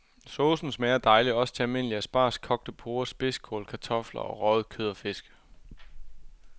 Saucen smager dejligt også til almindelige asparges, kogte porrer, spidskål, kartofler og røget kød og fisk.